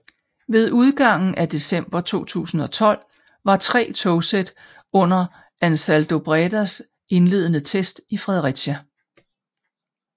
Ved udgangen af december 2012 var tre togsæt under AnsaldoBredas indledende test i Fredericia